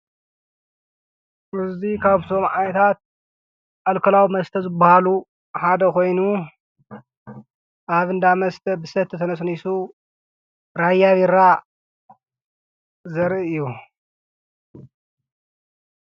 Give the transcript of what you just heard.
እዙይ ካምቶም ዓይታት ኣልከላዊ መስተ ዘብሃሉ ሓደ ኾይኑ ኣብንዳ መስተ ብሰተ ተነስኒሱ ራይ ቢራ ዘርኢ እዩ።